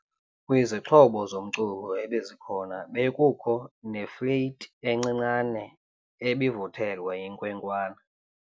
Kwizixhobo zomculo ebezikhona bekukho nefleyiti encinane ebivuthelwa yinkwenkwana.